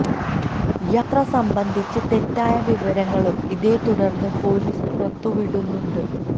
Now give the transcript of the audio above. യാത്ര സംബന്ധിച്ച് തെറ്റായ വിവരങ്ങളും ഇതേ തുടര്ന്ന് പൊലീസ് പുറത്ത് വിടുന്നുണ്ട്